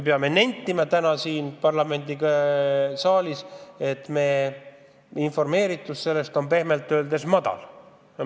Tegelikult peame täna siin parlamendisaalis nentima, et meie informeeritus sellest on pehmelt öeldes nigel.